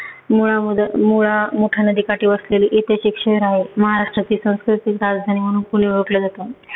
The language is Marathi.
मुळामुदा मुळामुठा नदी काठी वसलेले ऐतिहासिक शहर आहे. महाराष्ट्राची सांस्कृतिक राजधानी म्हणून पुणे ओळखलं जातं.